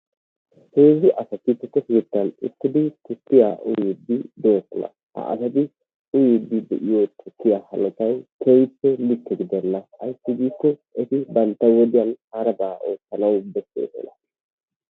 Heezzu asatti tukke kettan uttiddi tukiya uyidi de'osona ha asatti uyiddi diyo tukiyaa hanottay